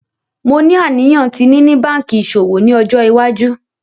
Mo ni aniyan ti nini banki iṣowo ni ọjọ iwaju.